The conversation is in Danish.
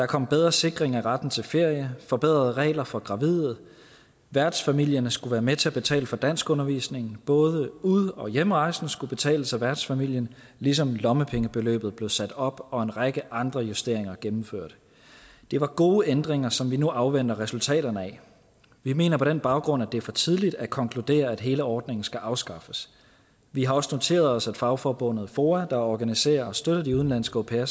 kommet bedre sikring af retten til ferie forbedrede regler for gravide værtsfamilien skulle være med til at betale for danskundervisningen og både ud og hjemrejsen skulle betales af værtsfamilien ligesom lommepengebeløbet blev sat op og en række andre justeringer gennemført det var gode ændringer som vi nu afventer resultaterne af vi mener på den baggrund at det er for tidligt at konkludere at hele ordningen skal afskaffes vi har også noteret os at fagforbundet foa der organiserer og støtter de udenlandske au pairer